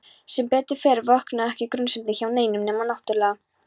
Sem betur fer vöknuðu ekki grunsemdir hjá neinum nema náttúrlega